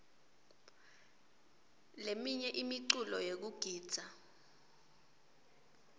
leminye imiculo yekugidza